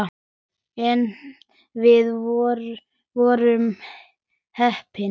En við vorum heppin.